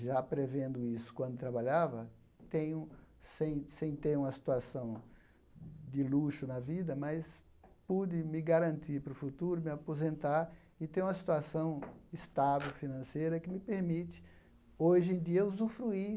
já prevendo isso quando trabalhava, tenho sem sem ter uma situação de luxo na vida, mas pude me garantir para o futuro, me aposentar e ter uma situação estável, financeira, que me permite hoje em dia usufruir